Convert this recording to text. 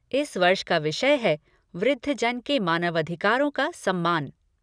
इस वर्ष का विषय है वृद्धजन के मानवाधिकारों का सम्मान।